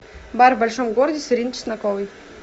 бар в большом городе с ириной чесноковой